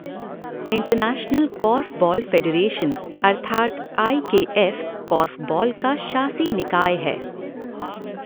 International korfball federation अर्थात I K F korfball का शासी निकाय है।